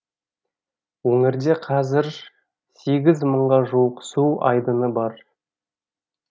өңірде қазір сегіз мыңға жуық су айдыны бар